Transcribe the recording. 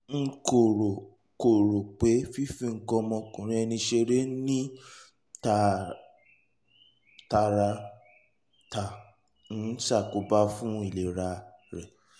n kò rò kò rò pé fífi nǹkan ọmọkùnrin ẹni ṣeré ní tààràtà ń ṣàkóbá fún ìlera rẹ